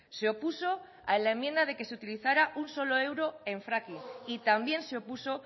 se opuso a la enmienda de que se utilizara un solo euro en fracking y también se opuso